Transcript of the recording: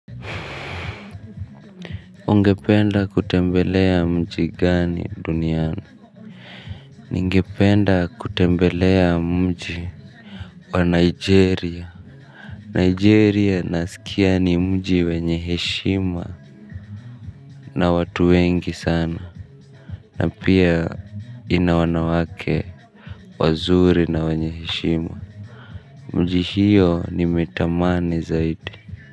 Ungependa kutembelea mji gani duniani. Ningependa kutembelea mji wa Nigeria Nigeria nasikia ni mji wenyeheshima na watu wengi sana. Na pia ina wanawake wazuri na wenyeheshima. Mji hiyo nimetamani zaidi.